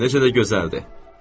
Bu necə də gözəldir?